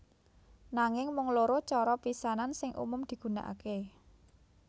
Nanging mung loro cara pisanan sing umum digunakaké